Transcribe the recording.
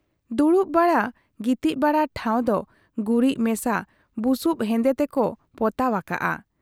ᱫᱩᱲᱩᱵ ᱵᱟᱲᱟ ᱜᱤᱛᱤᱡ ᱵᱟᱲᱟ ᱴᱷᱟᱶ ᱫᱚ ᱜᱩᱨᱤᱡ ᱢᱮᱥᱟ ᱵᱩᱥᱩᱵ ᱦᱮᱸᱫᱮ ᱛᱮᱠᱚ ᱯᱚᱛᱟᱣ ᱟᱠᱟᱜ ᱟ ᱾